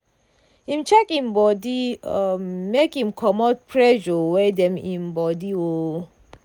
im check im body um make im comot pressure wey dem im body. um